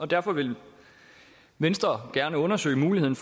derfor vil venstre gerne undersøge muligheden